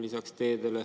Tõnis Lukas, palun!